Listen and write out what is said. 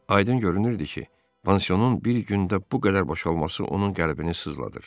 Aydın görünürdü ki, pansionun bir gündə bu qədər boşalması onun qəlbini sızladır.